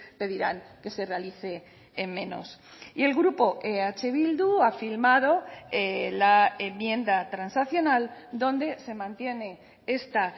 pedirán que se realice en menos y el grupo eh bildu ha firmado la enmienda transaccional donde se mantiene esta